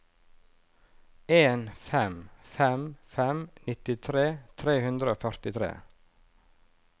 en fem fem fem nittitre tre hundre og førtitre